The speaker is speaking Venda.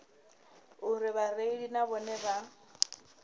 uri vhareili na vhone vha